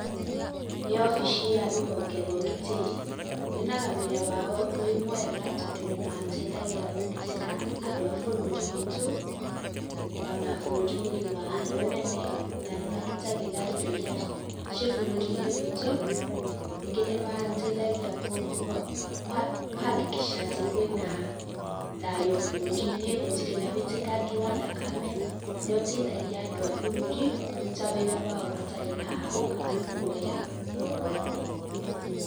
Nĩ obici ya rũhonge rwa ũgitĩri, nyonaga wĩra wao wĩ mwega tondũ nĩ mateithagia kũgitĩra andũ a bũrũri witũ, ona bũrũri mũgima harĩ ũnene, ona nĩ magitagĩra indo iria ciĩ bũrũri-inĩ witũ, nyingĩ nĩ mateithagia kũ hakikisha atĩ kwĩna thayũ bũrũri-inĩ, gũtirĩ na ũitĩkangi wa thakame, ũrĩa ũteithagia andũ a bũrũri, kũruta wĩra wao matarĩ na hahũ kana guoya o wothe.